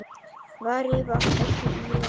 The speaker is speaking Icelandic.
Væri það ekki í lagi?